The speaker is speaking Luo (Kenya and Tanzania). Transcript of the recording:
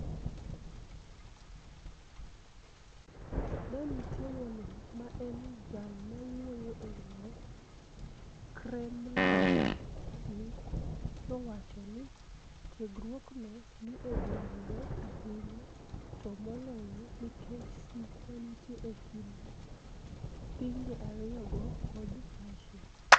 Danite Wonig, ma eni jal mawuoyo e lo Kremlini, nowacho nii tiegruokno ni e dwarore ahiniya, to moloyo niikech sigu ma niitie e kinid pinije ariyogo kod Russia.